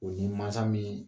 O ye mansa min